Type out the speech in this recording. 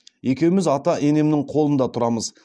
екеуміз ата енемнің қолында тұрамыз